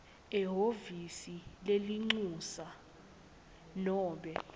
ehhovisi lelincusa nobe